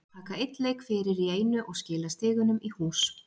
Taka einn leik fyrir í einu og skila stigunum í hús.